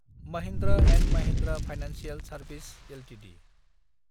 Mahindra & Mahindra financial service Ltd